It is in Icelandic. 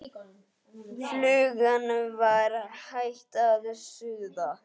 Flugan var hætt að suða.